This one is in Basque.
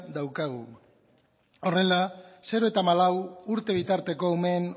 daukagu horrela zero eta hamalau urte bitarteko umeen